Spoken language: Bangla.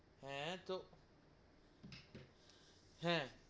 হ্যা, তো হেঁ,